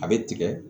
A bɛ tigɛ